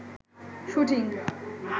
shooting